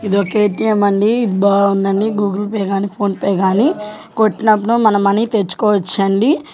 ఇదొక ఎ.టి.ఎం. అండి బావుందండి గూగుల్ పే గాని ఫోన్ పే గాని కొట్టినప్పుడు మన మనీ తెచ్చుకోవచ్చండి.